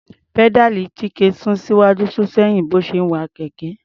Pẹ́dáàlì Chike sún síwájú sún sẹ́yìn bí ó ṣe ń wa kẹ̀kẹ́.